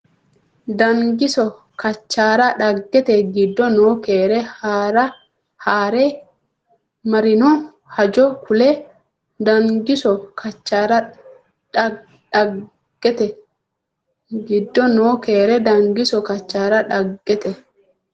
Dangiso Kachaara dhaggete giddo noo keere haa re marino hajo kuli Dangiso Kachaara dhaggete giddo noo keere Dangiso Kachaara dhaggete.